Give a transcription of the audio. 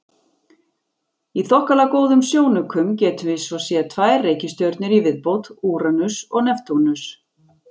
Í þokkalega góðum sjónaukum getum við svo séð tvær reikistjörnur í viðbót, Úranus og Neptúnus.